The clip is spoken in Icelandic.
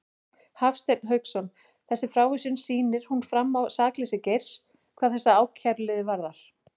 Hafstein Hauksson: Þessi frávísun, sýnir hún fram á sakleysi Geirs hvað þessa ákæruliði varðar?